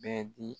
Bɛɛ di